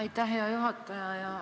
Aitäh, hea juhataja!